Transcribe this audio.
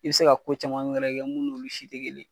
I be se ka ko caman wɛrɛ kɛ mun n'olu si te kelen.